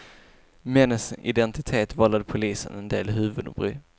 Männens identitet vållade polisen en del huvudbry.